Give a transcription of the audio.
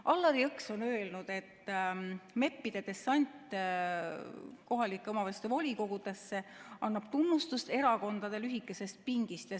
Allar Jõks on öelnud, et MEP-ide dessant kohalike omavalitsuste volikogudesse annab tunnistust erakondade lühikesest pingist.